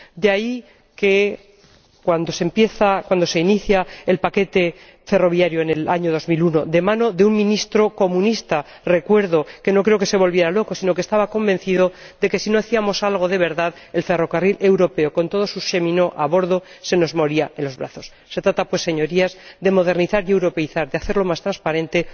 De ahí que, cuando se inicia el paquete ferroviario en el año 2001, de mano de un ministro comunista ―recuerdo que no creo que se volviera loco―, este estaba convencido de que si no hacíamos algo de verdad el ferrocarril europeo, con todos sus cheminots a bordo, se nos moría en los brazos. Se trata, pues, señorías, de modernizar y europeizar, de hacerlo más transparente.